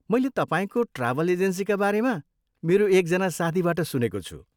मैले तपाईँको ट्राभल एजेन्सीका बारेमा मेरो एकजना साथीबाट सुनेको छु।